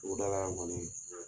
Togoda la yan kɔni